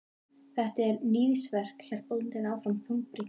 Þetta er. níðingsverk, hélt bóndinn áfram þungbrýnn.